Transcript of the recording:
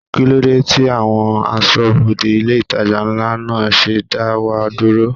Kí ló dé tí àwọn aṣọ́bodè ilé itàjà ńlá náà ṣe dá wa dúró?